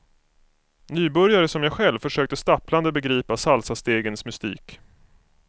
Nybörjare som jag själv försökte stapplande begripa salsastegens mystik.